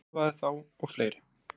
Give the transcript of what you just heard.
Hann þjálfaði þá og fleiri.